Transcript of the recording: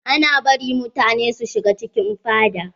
Ana bari mutane su shiga cikin fada?